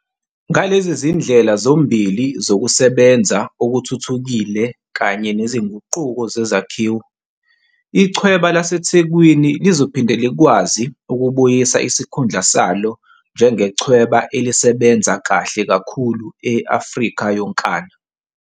Ngalezi zindlela zombili zokusebenza okuthuthukile kanye nezinguquko zezakhiwo, Ichweba laseThekwini lizophinde likwazi ukubuyisa isikhundla salo njengechweba elisebenza kahle kakhulu e-Afrika yonkana.